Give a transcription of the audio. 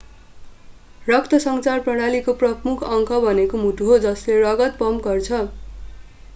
रक्तसञ्चार प्रणालीको प्रमुख अङ्ग भनेको मुटु हो जसले रगत पम्प गर्छ